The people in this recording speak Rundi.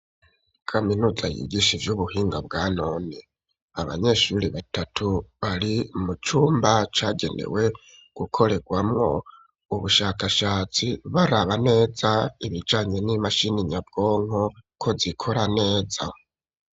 Kaminuza, yigishe ivy'ubuhinga, bwa none; abanyeshuri batatu, bari mu cumba cagenewe gukorerwamwo, ubushakashats, baraba neza, ibijanye n'imashini nyabwonko, ko zikora neza.